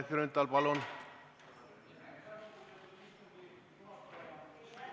Kalle Grünthal, palun!